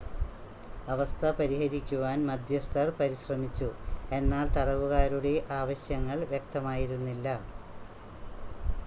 അവസ്ഥ പരിഹരിക്കുവാൻ മദ്ധ്യസ്ഥർ പരിശ്രമിച്ചു എന്നാൽ തടവുകാരുടെ ആവശ്യങ്ങൾ വ്യക്തമായിരുന്നില്ല